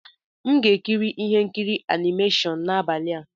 M ga-ekiri ihe nkiri animashon n'abalị a.